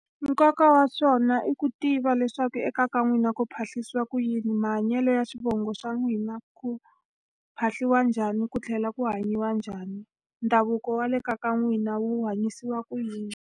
Nkoka wa swona i ku tiva leswaku ekaya ka n'wina ku phahlisiwa ku yini, mahanyelo ya xivongo xa n'wina, ku phahliwa njhani, ku tlhela ku hanyiwa njhani. Ndhavuko wa le kaya ka n'wina wu hanyisiwa ku yini.